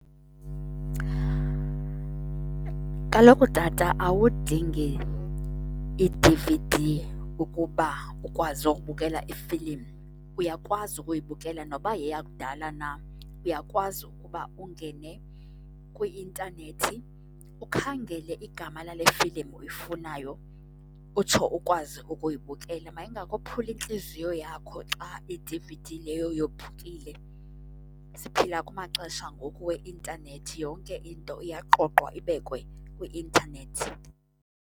Kaloku tata awudingi i-D_V_D ukuba ukwazi ukubukela ifilim uyakwazi ukuyibukela noba yakudala na. Uyakwazi ukuba ungene kwi-intanethi ukhangele igama lale filim uyifunayo, utsho ukwazi ukuyibukela. Mayingakophuli intliziyo yakho xa i-D_V_D leyo yophukile. Siphila kumaxesha ngoku weintanethi, yonke into iyaqoqwa ibekwe kwi-intanethi.